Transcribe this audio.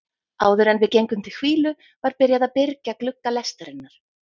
Áðuren við gengum til hvílu var byrjað að byrgja glugga lestarinnar.